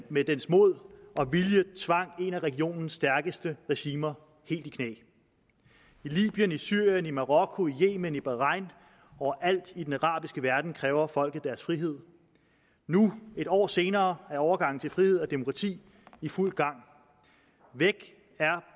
med dens mod og vilje tvang et af regionens stærkeste regimer helt i knæ i libyen i syrien i marokko i yemen i bahrain og overalt i den arabiske verden kræver folket deres frihed nu en år senere er overgangen til frihed og demokrati i fuld gang væk er